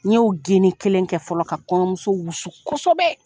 N ye o geni kelen kɛ fɔlɔ ka kɔɲɔmuso wusu kosɛbɛ.